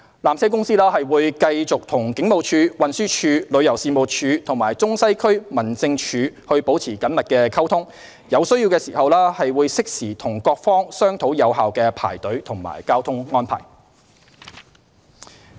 纜車公司會繼續與警務處、運輸署、旅遊事務署和中西區民政處保持緊密溝通，有需要時會適時與各方商討有效的排隊及交通安排。